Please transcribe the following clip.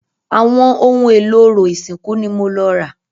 Àwọn ohun èlò orò ìsìnkú ni mo lọ rà.